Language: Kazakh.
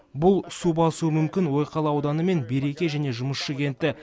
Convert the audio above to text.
бұл су басуы мүмкін ойқала ауданы мен береке және жұмысшы кенті